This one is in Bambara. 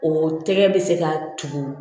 O tɛgɛ bɛ se ka tugu